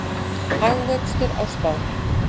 Hagvöxtur á Spáni